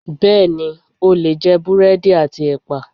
Bẹẹni, o lè jẹ búrẹ́dì àti ẹpa.